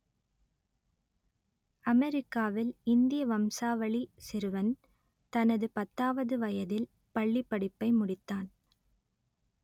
அமெரிக்காவில் இந்திய வம்சாவளி சிறுவன் தனது பத்தாவது வயதில் பள்ளிப் படிப்பை முடித்தான்